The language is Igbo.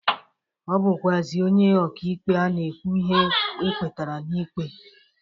Ọbụkwụazị onye ọka ikpe a ga-ekwu ihe ekpetara n'ikpe.